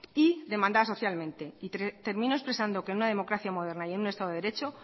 y demandada socialmente termino expresando que en una democracia moderna y en un estado de derecho